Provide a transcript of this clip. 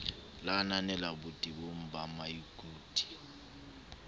le ananela botebong ba maikut